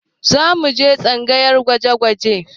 Za mu je tsangayar gwaje-gwaje